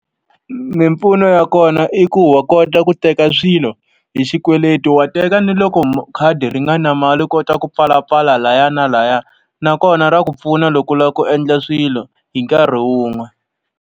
Mimpfuno ya kona i ku wa kota ku teka swilo hi xikweleti, wa teka ni loko khadi ri nga na mali u kota ku pfalapfala lahaya na lahaya. Nakona ra ku pfuna loko u lava ku endla swilo hi nkarhi wun'we.